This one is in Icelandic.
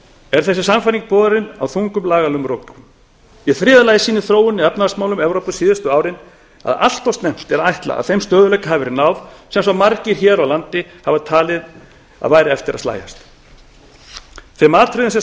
er þessi sannfæring borin á þungum lagalegum rökum í þriðja lagi sýnir þróunin í efnahagsmálum evrópu síðustu árin að allt of snemmt er að ætla að þeim stöðugleika hafi verið náð sem svo margir hér á landi hafa talið að væri eftir að slægjast við þurfum að taka í sameiningu